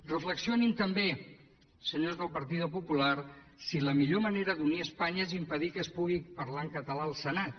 reflexionin també senyors del partido popular si la millor manera d’unir espanya és impedir que es pugui parlar en català al senat